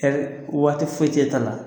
Waati foyi cɛ t'a la